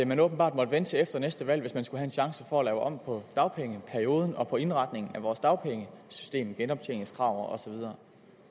man åbenbart måtte vente til efter næste valg hvis man skulle have en chance for at lave om på dagpengeperioden og på indretningen af vores dagpengesystem genoptjeningskrav og så videre